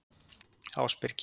Ásbyrgi